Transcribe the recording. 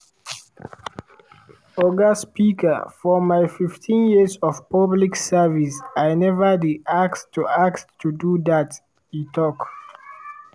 oga speaker for my 15 years of public service i neva dey asked to asked to do dat" e tok.